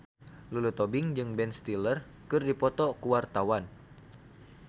Lulu Tobing jeung Ben Stiller keur dipoto ku wartawan